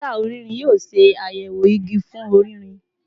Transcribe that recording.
Mita ọrinrin yoo ṣayẹwo igi fun ọririn